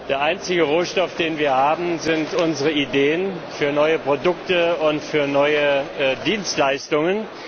Der einzige Rohstoff, den wir haben, sind unsere Ideen für neue Produkte und für neue Dienstleistungen.